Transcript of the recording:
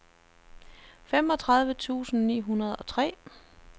femogtredive tusind ni hundrede og tre